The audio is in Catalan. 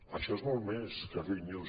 això és molt més que fake news